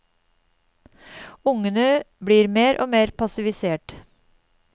Ungene blir mer og mer passivisert.